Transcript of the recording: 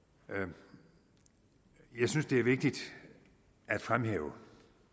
det jeg synes det er vigtigt at fremhæve